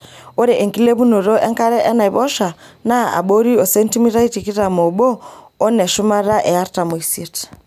Ore enkilepunoto enkare enaiposha naa abori osentimitai tikitam oobo oneshumata e artam oisiet .